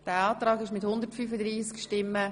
Abstimmung (Art. 15 Abs. 2 (neu);